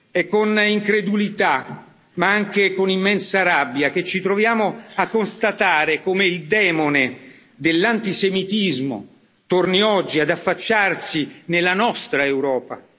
È con incredulità, ma anche con immensa rabbia, che ci troviamo a constatare come il demone dell'antisemitismo torni oggi ad affacciarsi nella nostra Europa.